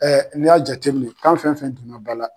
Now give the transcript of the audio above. Ɛ n'i y'a jateminɛ k'an fɛn fɛn donna ba la.